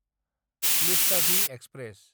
लिच्चाभि express